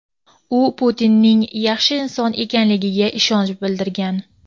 u Putinning yaxshi inson ekanligiga ishonch bildirgan.